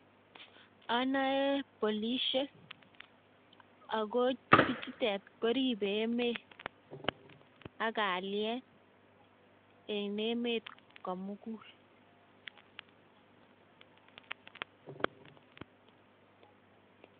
Anoe polisiek, ako bichutet koribe emet ak kalyet eng emet komugul